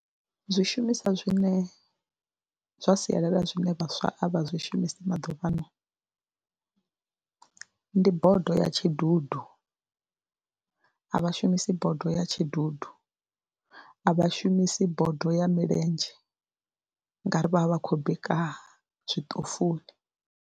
Zwishumiswa zwine zwa sialala zwine vhaswa a vha zwi shumisi maḓuvhano ndi bodo ya tshidudu, a vha shumisi bodo ya tshidudu, a vha shumisi bodo ya milenzhe ngauri vha vha vha khou bika zwiṱofuni.